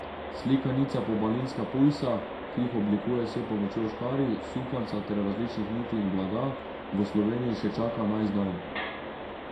Slikanica Pobalinska pujsa, ki jih oblikuje s pomočjo škarij, sukanca ter različnih niti in blaga, v Sloveniji še čaka na izdajo.